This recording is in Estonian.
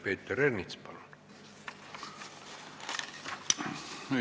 Peeter Ernits, palun!